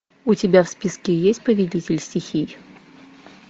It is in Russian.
у тебя в списке есть повелитель стихий